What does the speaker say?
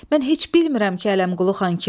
Mən heç bilmirəm ki, Ələmqulu xan kimdir.